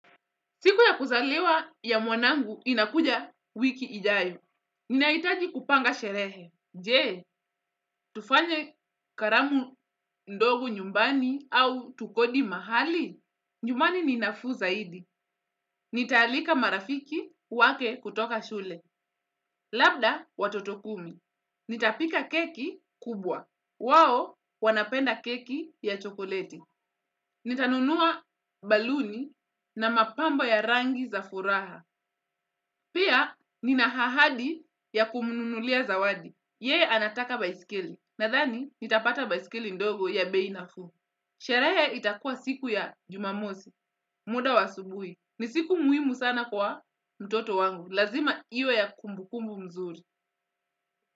Siku ya kuzaliwa ya mwanangu inakuja wiki ijayo. Ninahitaji kupanga sherehe. Jee, tufanye karamu ndogo nyumbani au tukodi mahali? Nyumbani ni nafuu zaidi. Nitaalika marafiki wake kutoka shule. Labda watoto kumi. Nita pika keki kubwa. Wao wanapenda keki ya chokoleti. Nitanunua baluni na mapambo ya rangi za furaha. Pia, nina ahadi ya kumnunulia zawadi. Yeye anataka baiskeli. Nadhani, nitapata baiskeli ndogo ya bei nafuu. Sherehe itakua siku ya juma mosi, muda wa asubuhi. Ni siku muhimu sana kwa mtoto wangu. Lazima iwe ya kumbukumbu mzuri.